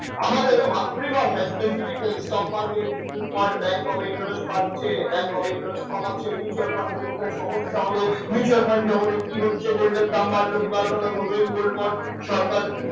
আমাদের মাতৃভাষা specifically stock market business world bank off bank off interest বাড়াচ্ছে bank off interest কমাচ্ছে mutual fund কোথায় সমস্যা হলো mutual fund জগতে কি হচ্ছে gold দাম বাড়লো কি বাড়লো না সৌমেন gold born সরকার